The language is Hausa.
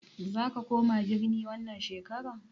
Zaka koma birni wannan shekarar?